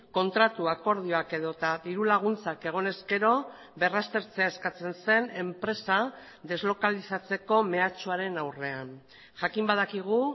kontratu akordioak edota dirulaguntzak egon ezkero berraztertzea eskatzen zen enpresa deslokalizatzeko mehatxuaren aurrean jakin badakigu